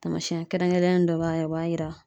Tamasɛn kɛrɛnkɛrɛnnen dɔ b'a la o b'a yira